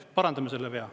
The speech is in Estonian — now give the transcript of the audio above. Parandame selle vea.